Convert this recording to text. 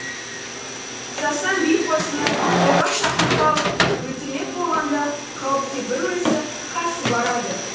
сасан би қозыны тойға шақырып алып өлтірмек болғанда қауіпке бір өзі қарсы барады